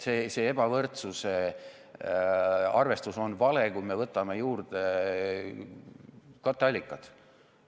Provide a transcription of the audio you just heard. See ebavõrdsuse arvestus on vale, kui me võtame juurde katteallikad.